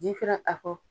Jifirin a kɔ